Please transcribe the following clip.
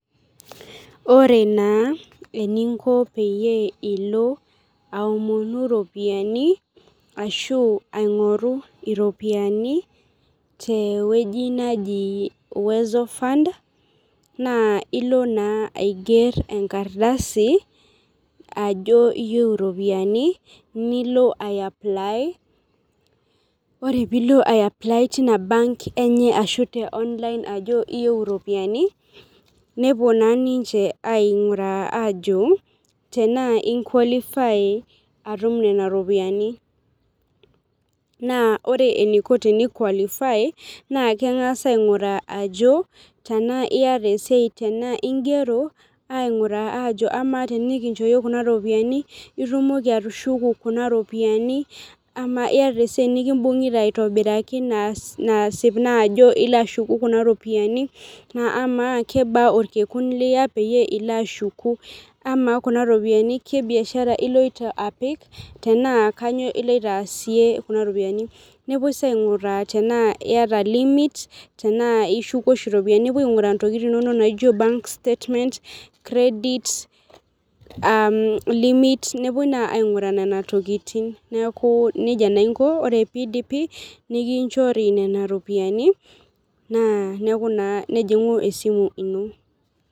Ore naa eninko peyie ilo aomonu, iropiyiani ashu aing'oru iropiyiani te wueji naji uwezo fund, naa ilo naa aiger enkardasi ajo iyieu iropiyiani nilo ae apply ,ore pee ilo apply teina bank enye ajo iyieu iropiyiani, nepuo naa ninche ainguraa ajo, tenaa i qualify atum Nena ropiyiani, naa ore eniko naa keng'as ainguraa ajo tenaa iyata esiai tenaa igero, ainguraa ajo amaa tenikincho iyie Kuna ropiyiani itumoki atushuku Kuna ropiyiani, amaa iyata esiai nikibungita aitobiraki naasip naa ajo ilo ashuku Kuna ropiyiani amaa kebaa olkekun Liya pee ilo ashuku amaa , Kuna ropiyiani, kebiashara iloito apik, tenaa kainyioo iloito aasie Kuna ropiyiani, nepuoi sii aingura tenaa iyata limit te aa ishuku oshi iropiyiani, nepuo ainguraa ntokitin inonok naijo banks statement credit, aa limit nepuoi naa ainguraa Nena tokitin, neeku nejia naa inkoo, ore pee idipi, nikinchori Nena ropiyiani, nejingu esimu ino.